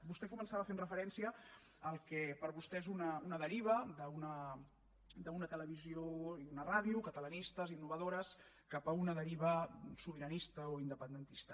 vostè començava fent referència al que per vostè és una deriva d’una televisió i una ràdio catalanistes innovadores cap a una deriva sobiranista o independentista